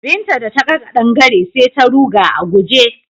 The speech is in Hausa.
Binta da ta ga ƙadangare sai ta ruga a guje.